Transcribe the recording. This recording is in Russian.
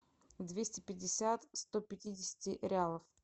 двести пятьдесят сто пятидесяти реалов